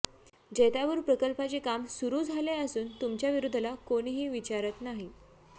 जैतापूर प्रकल्पाचे काम सुरू झाले असून तुमच्या विरोधाला कोणीही विचारत नाही